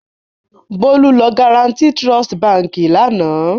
Bólú lọ Guaranty Trust Báńkì lánàá.